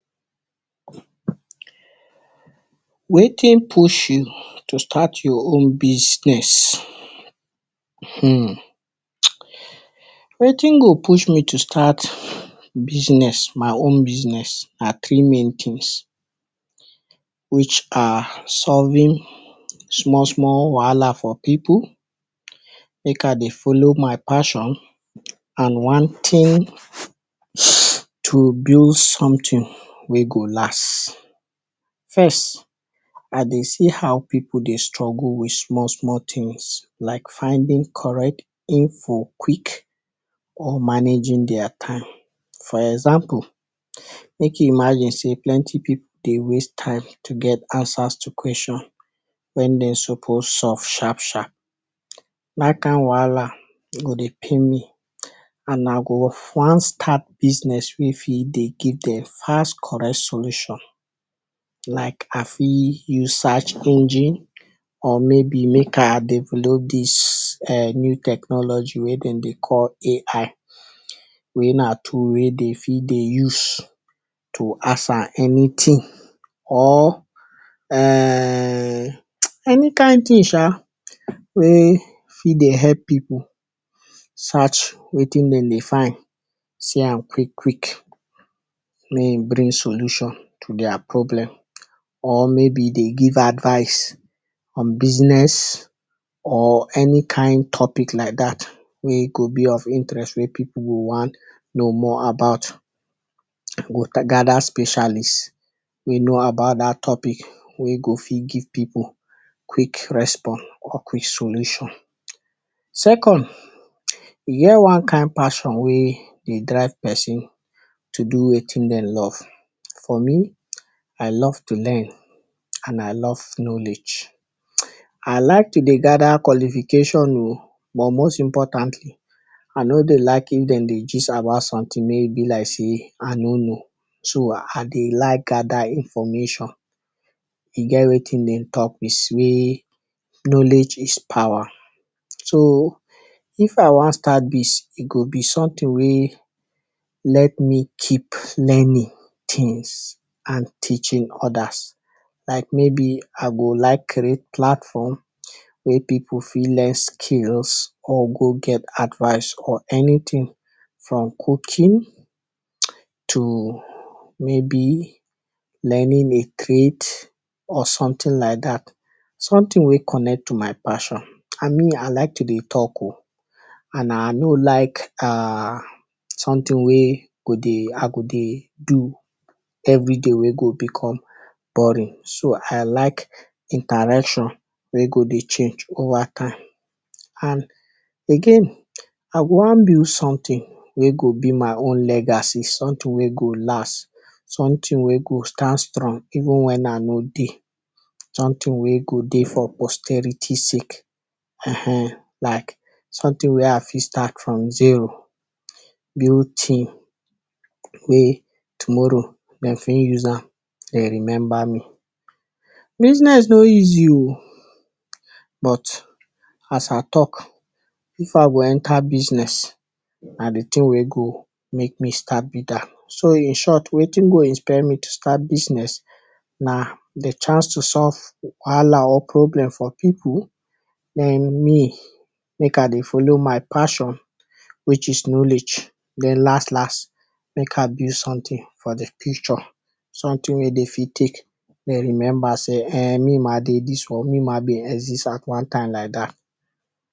Wetin push you to start your own business? hmn wetin go push me to start business, my own business are three main things which are solving small-small wahala for pipul, make I de follow my fashion, and one thing to build something wey go last. First, I dey see how pipul de struggle with small-small things like finding correct info quick or managing deya time, for example make imaging sey plenty pipul de waste time to get answers to question when dey suppose so sharp-sharp. Dat kind wahala go de pain me, an na go one start business if he dey keep di fast correct solution, like happy you search engine or make a develop dis eh new technology wey dem de call AI wey na tool wey de den fit de use to ask her anything or ehhnn any kind thing sha, wey fit dey hep pipul search wetin den dey find, see am quick-quick may im bring solution to deya problem or may be dey give advice on business or any kind topic like dat wey go be of interest wey pipul go wan know more about or ta gather specialist wey know about dat topic wey go fit give pipul quick response or quick solution. Second, yea one kind fashion wey de drive pesin to do wetin den love for me, I love to learn an I love knowledge. I like to dey gather qualification wo, but most important an all di liking den dey gist about something may be like sey I no know, so I dey like gather information. E get wetin dem talk is wey knowledge is power. So if I wan start dis e go be something wey let me keep learning things and teaching others. Like maybe I go like read platform wey pipul fit learn skills or go get advice or anything, from cooking, to may be learning a trade or something like dat. Something wey connect to my passion. An me Ilike to dey talk wo, an I no like ahhh something wey go dei go de do every day wey go become boring, so I like interaction wey go de change go one kind. An again, I go wan build something wey go be my own legacy, something wey go last, something wey go stand strong even when I no dey, something wey go de posterity sake ehn, like something wey I fit start from zero, build team wey tomorrow dem fair use am dey remember me. Business no easy wo, but as I talk, if I go entre business, I dey tell wey go make me start bigger. So in short, wetin go inspire me to start business na di chance to solve problem or wahala for pipul, den me make I dey follow my passion which is knowledge, den las-las make I build something for di future, something wey de fit take dey remember sey[um]me ma de dis me ma been exist at one time like dat.